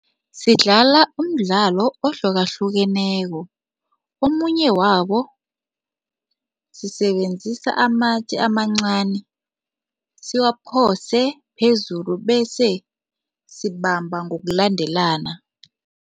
Sidlala umdlalo ohlukahlukeneko. Omunye wabo sisebenzisa amatje amancani, siwaphose phezulu bese sibamba ngokulandelana.